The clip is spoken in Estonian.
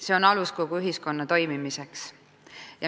See on alus kogu ühiskonna toimimiseks.